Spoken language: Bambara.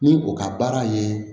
Ni o ka baara ye